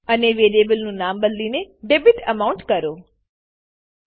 અને વેરીએબલનું નામ બદલીને ડેબિટામાઉન્ટ ડેબીટએમાઉન્ટ કરો